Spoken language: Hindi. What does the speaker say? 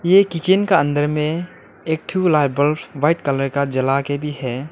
ये किचन का अंदर में एक ठो लाइट बल्ब व्हाइट कलर का जला के भी है।